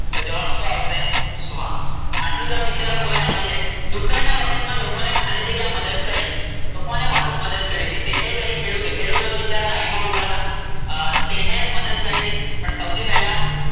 તો જવાબ શું આવશે કે શ્વાસ? આટલું તમે વિચારો તો ય આવડી જાય. દુકાન ના વખત માં લોકો ને ખાલી જગ્યા મદદ કરી. તો કોને મદદ કરી શેઠે કરી કે ખેડૂતે? ખેડૂતો બિચારા લાઈન માં ઉભા હતા. શેઠે મદદ કરી હતી હતી પણ સૌથી પેલા